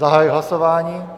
Zahajuji hlasování.